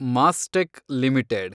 Mastek limited